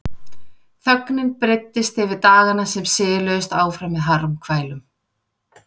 Þögnin breiddist yfir dagana sem siluðust áfram með harmkvælum.